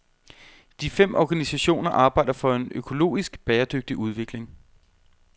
De fem organisationer arbejder for en økologisk, bæredygtig udvikling.